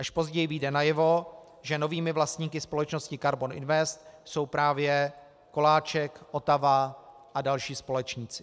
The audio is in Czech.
Až později vyjde najevo, že novými vlastníky společnosti Karbon Invest jsou právě Koláček, Otava a další společníci.